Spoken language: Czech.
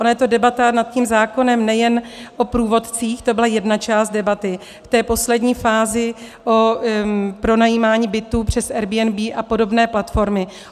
Ona je to debata nad tím zákonem nejen o průvodcích, to byla jedna část debaty, v té poslední fázi o pronajímání bytů přes Airbnb a podobné platformy.